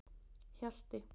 Hjalti